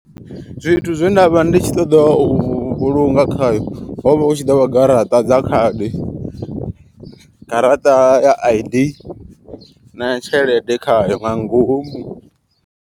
Zwithu zwe nda vha ndi tshi ṱoḓa u vhulunga khayo. Hovha hu tshi ḓovha garaṱa dza khadi, garaṱa ya I_D na tshelede khayo nga ngomu.